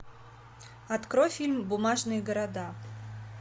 открой фильм бумажные города